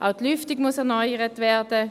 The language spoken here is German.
Zudem muss die Lüftung erneuert werden.